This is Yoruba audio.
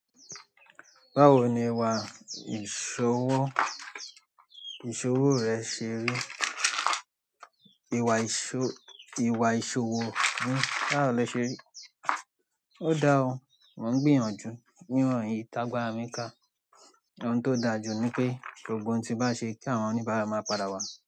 Báwo ni ìwà iṣowọ, iṣowo rẹ se ri. Ìwà ìṣòwò, ìwà ìṣòwò mí báwo lo ṣé rí. Ó dáa o, mò ń gbìyànjú, nírọ̀hìn ìtàgbà à mi ká. Ohun tó dáa jù ni pé gbogbo ohun tí bá ṣe kí àwọn oníbàárà máa padà wá.